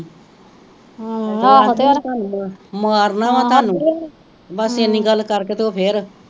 ਬਸ ਏਨੀ ਗੱਲ ਕਰ ਕੇ ਤੇ ਉਹ ਫੇਰ